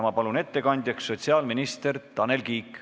Ma palun ettekandjaks sotsiaalminister Tanel Kiige.